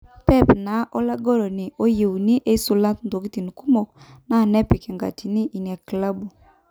Pep na olagoloni oyeuni-eisula ntokitin kumok na nepik enkatini ina kilabu.